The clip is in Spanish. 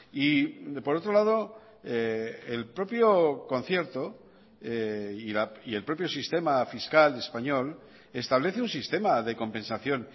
y por otro lado el propio concierto y el propio sistema fiscal español establece un sistema de compensación